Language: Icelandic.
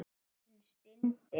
Hún stundi.